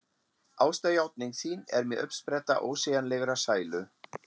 Ástarjátning þín er mér uppspretta ósegjanlegrar sælu.